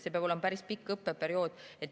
See peab olema päris pikk õppeperiood.